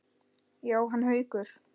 Jóhann Haukur.